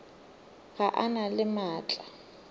ga a na le maatla